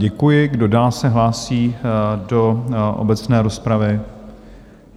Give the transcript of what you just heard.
Děkuji, kdo dále se hlásí do obecné rozpravy?